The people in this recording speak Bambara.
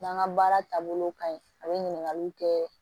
N'an ka baara taabolo ka ɲi a bɛ ɲininkaliw kɛ